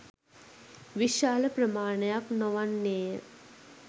විශාල ප්‍රමාණයක් නොවන්නේය